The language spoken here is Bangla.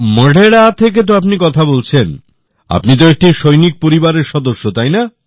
মোধেরাতে থেকে আপনি কথা বলছেন আপনি তো একটি সৈনিক পরিবারের সদস্য তাই না